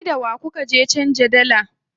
Kai da wa kuka je canza dalla?